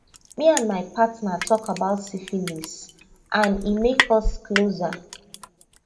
me and my partner talk about syphilis and e make us closer